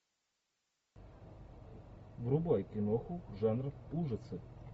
врубай киноху жанр ужасы